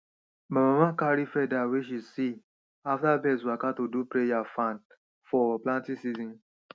my mama carry feather wey she see after birds waka to do prayer fan for planting season